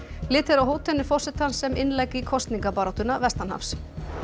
litið er á hótanir forsetans sem innlegg í kosningabaráttuna vestanhafs